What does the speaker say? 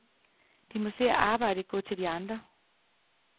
De må se arbejdet gå til de andre.